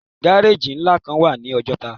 Gárájì ńlá kan wà ní Ọjọ́ta